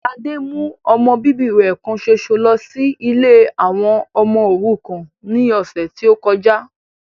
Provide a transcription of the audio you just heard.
Ladé mú ọmọ bíbí rẹ kan ṣoṣo lọ sí ilé àwọn ọmọ òrukàn ní ọ̀sẹ̀ tí ó kọjá